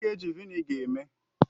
Gịnị ka eji Vị́nịga eme?